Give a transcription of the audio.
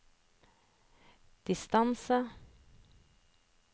distance